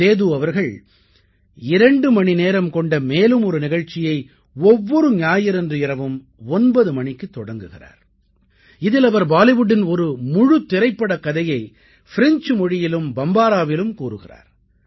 சேது அவர்கள் 2 மணிநேரம் கொண்ட மேலும் ஒரு நிகழ்ச்சியை ஒவ்வொரு ஞாயிறன்று இரவும் 9 மணிக்குத் தொடக்குகிறார் இதில் அவர் பாலிவுட்டின் ஒரு முழுத்திரைப்படக் கதையை ஃப்ரெஞ்சு மொழியிலும் பம்பாராவிலும் கூறுகிறார்